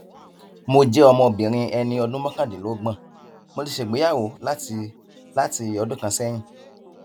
mo jẹ ọmọbìnrin ẹni ọdún mọkàndínlọgbọn mo ti ṣègbéyàwó láti láti ọdún kan sẹyìn